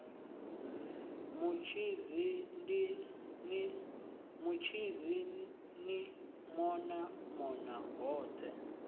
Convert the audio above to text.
mutshidzi ni mona mona hothe